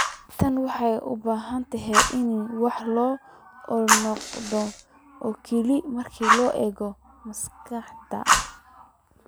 Tani waxay u badan tahay inay wax ku ool u noqon doonto oo kaliya marka la eego miisaanka.